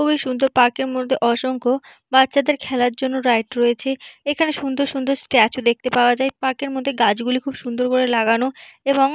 খুবই সুন্দর পার্ক - এর মধ্যে অসংখ্য বাচ্চাদের খেলার জন্য রাইড রয়েছে । এখানে সুন্দর সুন্দর স্ট্যাচু দেখতে পাওয়া যায় । পার্ক - এর মধ্যে গাছগুলি খুব সুন্দর করে লাগানো এবং --